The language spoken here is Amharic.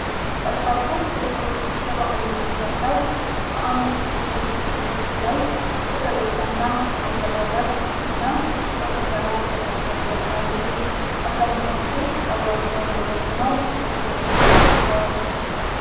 በርካታ ሴቶች የባህል ልብስ ለብሰው፣ በአንድ ምሽት ዝግጅት ላይ በፈገግታና በመተቃቀፍ እና በጭፈራ ደስታቸውን ይገልጻሉ። አብዛኛዎቹ ፀጉራቸውን ተጎንጉነው በትልቁ ለቀዋል።